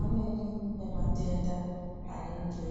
Amweni ema tenda anenge